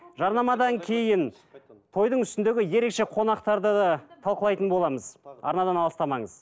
жарнамадан кейін тойдың үстіндегі ерекше қонақтарды да талқылайтын боламыз арнадан алыстамаңыз